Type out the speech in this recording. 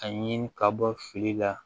A ɲini ka bɔ fili la